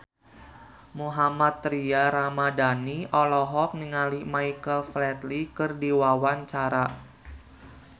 Mohammad Tria Ramadhani olohok ningali Michael Flatley keur diwawancara